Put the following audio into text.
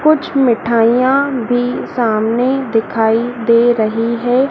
कुछ मिठाइयां भी सामने दिखाई दे रही है।